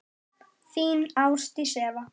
Þín Ásdís Eva.